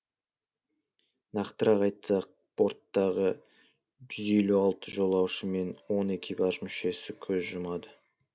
нақтырақ айтсақ борттағы жүз елу алты жолаушы мен он экипаж мүшесі көз жұмады